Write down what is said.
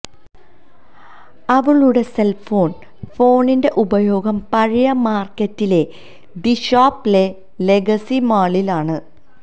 അവളുടെ cell phone ഫോണിന്റെ ഉപയോഗം പഴയ മാർക്കറ്റിലെ ദി ഷോപ്പ്സ് ലെ ലെഗസി മാളിൽ ആണ്